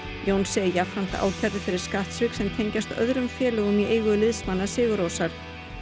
Jónsi er jafnframt ákærður fyrir skattsvik sem tengjast öðrum félögum í eigu liðsmanna sigur Rósar